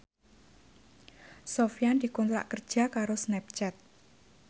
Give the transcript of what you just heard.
Sofyan dikontrak kerja karo Snapchat